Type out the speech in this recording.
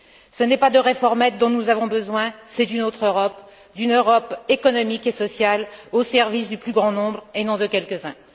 Ce n'est pas de réformettes dont nous avons besoin, c'est d'une autre Europe, d'une Europe économique et sociale au service du plus grand nombre et non de quelques uns.